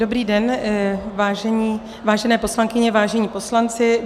Dobrý den, vážené poslankyně, vážení poslanci.